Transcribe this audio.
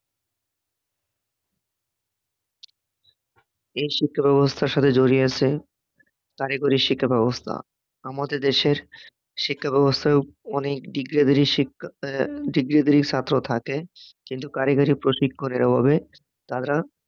এই শিক্ষাব্যবস্থার সাথে জড়িয়ে আছে কারিগরি শিক্ষা ব্যবস্থা আমাদের দেশের শিক্ষাব্যবস্থার অনেক ডিগ্রি ধারি শিক্ষা ছাত্র থাকে, কিন্তু কারিগরি প্রশিক্ষনের অভাবে তারা